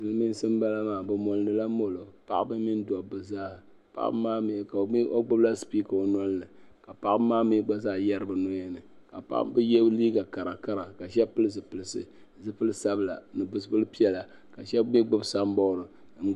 Silimiinsi n bala maa bɛ mɔɔnila mɔlɔ bini doni zaa paɣibni ka gbubi la ɔ nɔlini ka paɣabimi gba zaa yari bi nɔyani ka liiga karakara , ka shabi pili zipilisi ni zipili pɛla ka shabi mi gbubi san bɔad.